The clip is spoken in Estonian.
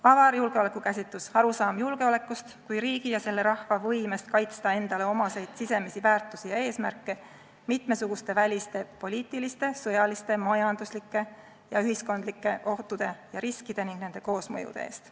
Avar julgeolekukäsitus – arusaam julgeolekust kui riigi ja selle rahva võimest kaitsta endale omaseid sisemisi väärtusi ja eesmärke mitmesuguste väliste poliitiliste, sõjaliste, majanduslike ja ühiskondlike ohtude ja riskide ning nende koosmõjude eest.